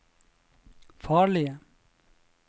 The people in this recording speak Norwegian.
farlige